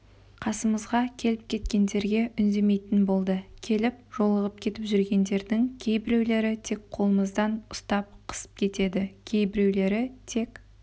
қасымызға келіп-кеткендерге үндемейтін болды келіп жолығып кетіп жүргендердің кейбіреулері тек қолымызды ұстап қысып кетеді кейбіреулері тек